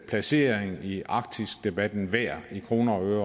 placering i arktisdebatten er værd i kroner og øre